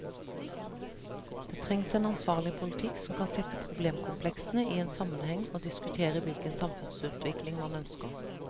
Det trengs en ansvarlig politikk som kan sette problemkompleksene i en sammenheng og diskutere hvilken samfunnsutvikling man ønsker.